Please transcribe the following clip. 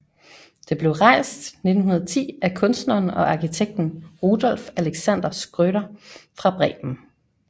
Det blev rejst 1910 af kunstneren og arkitekten Rudolf Alexander Schröder fra Bremen